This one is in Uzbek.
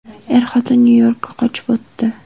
Er-xotin Nyu-Yorkka ko‘chib o‘tdi.